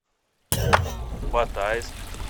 батайск